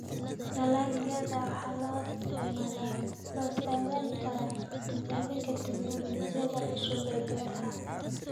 Dalagyada waxaa loo isticmaali karaa tijaabinta tignoolajiyada cusub ee beeraha.